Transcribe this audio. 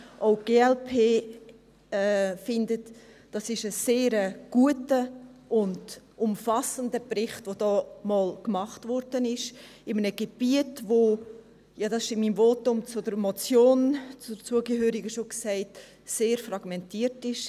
Auch die glp findet, das sei ein sehr guter und umfassender Bericht, der jetzt einmal gemacht wurde, in einem Gebiet, das, wie ich in meinem Votum zur zugehörigen Motion schon gesagt habe, sehr fragmentiert ist.